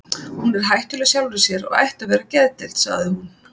Hún er hættuleg sjálfri sér og ætti að vera á geðdeild, sagði hún.